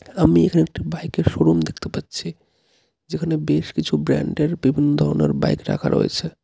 আমি এখানে একটা বাইকের শোরুম দেখতে পাচ্ছি যেখানে বেশ কিছু ব্র্যান্ডের বিভিন্ন ধরনের বাইক রাখা রয়েছে.